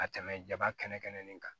Ka tɛmɛ jaba kɛnɛ kan